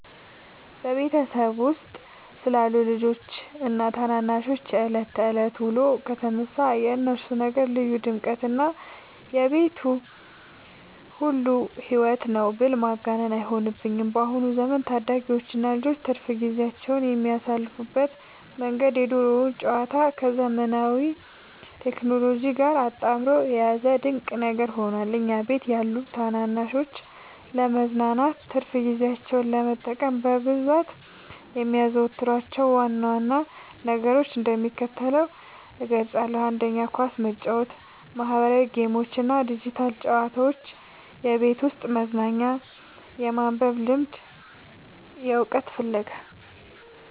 በቤተሰባችን ውስጥ ስላሉት ልጆችና ታናናሾች የዕለት ተዕለት ውሎ ከተነሳ፣ የእነሱ ነገር ልዩ ድምቀትና የቤቱ ሁሉ ሕይወት ነው ብል ማጋነን አይሆንብኝም። በአሁኑ ዘመን ታዳጊዎችና ልጆች ትርፍ ጊዜያቸውን የሚያሳልፉበት መንገድ የድሮውን ጨዋታ ከዘመናዊው ቴክኖሎጂ ጋር አጣምሮ የያዘ ድንቅ ነገር ሆኗል። እኛ ቤት ያሉ ታናናሾች ለመዝናናትና ትርፍ ጊዜያቸውን ለመጠቀም በብዛት የሚያዘወትሯቸውን ዋና ዋና ነገሮች እንደሚከተለው እገልጻለሁ፦ 1. ኳስ መጫወት 2. ማኅበራዊ ጌሞችና ዲጂታል ጨዋታዎች (የቤት ውስጥ መዝናኛ) 3. የማንበብ ልምድና የዕውቀት ፍለጋ